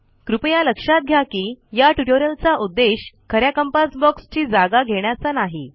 कृपया लक्षात घ्या की या ट्युटोरियलचा उद्देश ख या कंपास बॉक्सची जागा घेण्याचा नाही